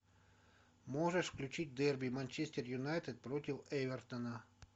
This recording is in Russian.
можешь включить дерби манчестер юнайтед против эвертона